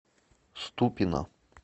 ступино